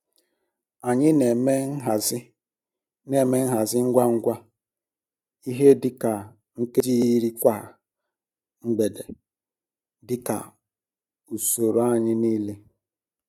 Anyị n'eme nhazi n'eme nhazi ngwa ngwa ihe di ka nkeji iri kwa mgbede dika usoro anyi niile